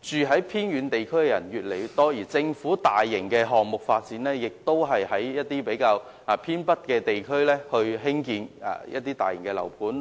居住在偏遠地區的人越來越多，政府的大型發展項目均集中在偏北地區，並在這些地區興建大型樓盤。